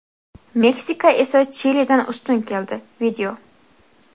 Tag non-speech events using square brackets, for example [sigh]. Meksika esa Chilidan ustun keldi. [video]